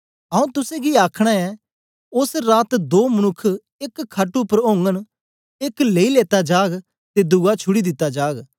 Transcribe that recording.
आऊँ तुसेंगी आखना ऐं ओस रात दो मनुक्ख एक खट उपर ओगन एक लेई लेता जाग ते दुआ छुड़ी दिता जाग